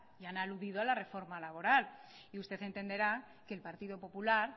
y han aludido a la reforma laboral y usted entenderá que el partido popular